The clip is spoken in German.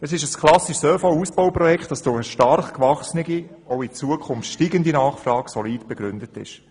Es handelt sich um ein klassisches ÖV-Ausbauprojekt, welches mit der stark gewachsenen und in Zukunft steigenden Nachfrage solide begründet ist.